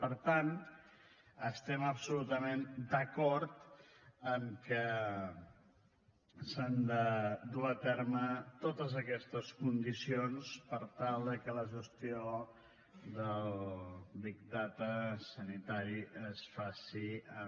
per tant estem absolutament d’acord que s’han de dur a terme totes aquestes condicions per tal que la gestió del big data sanitari es faci amb